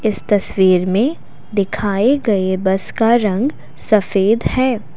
इस तस्वीर में दिखाए गए बस का रंग सफ़ेद है।